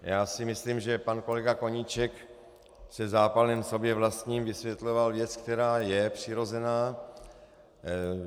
Já si myslím, že pan kolega Koníček se zápalem sobě vlastním vysvětloval věc, která je přirozená.